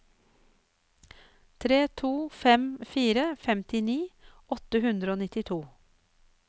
tre to fem fire femtini åtte hundre og nittito